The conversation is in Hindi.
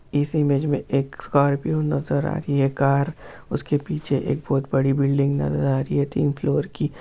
इस इमेज एक स्कॉर्पिओ नज़र आ रही है कार उसके पीछे एक बहुत बड़ी बिल्डिंग नज़र आ रही है तीन फ्लोर की।